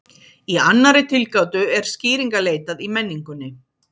Í annarri tilgátu er skýringa leitað í menningunni.